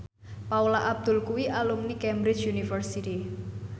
Paula Abdul kuwi alumni Cambridge University